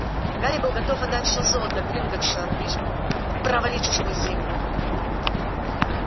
гарри был готов отдать все золото гринготтса лишь бы провалиться сквозь землю